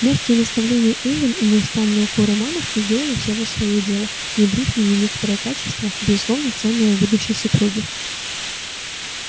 мягкие наставления эллин и неустанные укоры мамушки сделали все же своё дело внедрив в неё некоторые качества безусловно ценные в будущей супруге